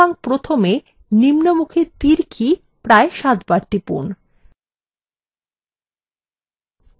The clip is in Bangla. সুতরাং প্রথমে নিম্নমুখী তীর key প্রায় সাতবার টিপুন